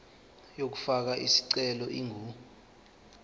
yokufaka isicelo ingu